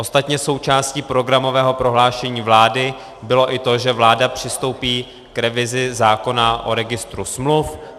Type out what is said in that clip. Ostatně součástí programového prohlášení vlády bylo i to, že vláda přistoupí k revizi zákona o registru smluv.